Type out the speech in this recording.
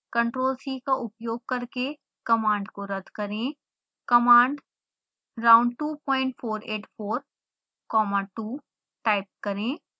ctrl+c का उपयोग करके कमांड को रद्द करें कमांड round 2484 comma 2 टाइप करें